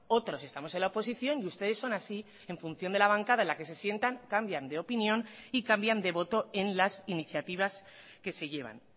otros estamos en la oposición y ustedes son así en función de la bancada en la que se sientan cambian de opinión y cambian de voto en las iniciativas que se llevan